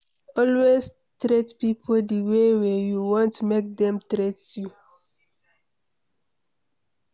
Always treat pipo di way wey you want make dem treat you